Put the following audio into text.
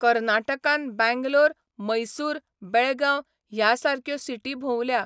कर्नाटकान बँग्लोर, मैसूर, बेळगांव ह्या सारक्यो सिटी भोंवल्या.